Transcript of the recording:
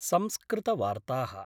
संस्कृतवार्ता: